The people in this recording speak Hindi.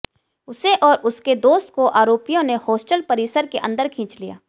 उसे और उसके दोस्त को आरोपियों ने हॉस्टल परिसर के अंदर खींच लिया